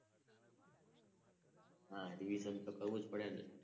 હા રિવિઝન તો કરવું જ પડે ને!